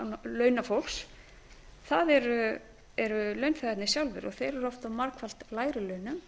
launafólks það eru launþegarnir sjálfir og þeir eru oft á margfalt lægri launum